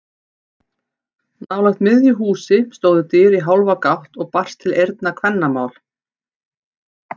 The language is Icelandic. Nálægt miðju húsi stóðu dyr í hálfa gátt og barst til eyrna kvennamál.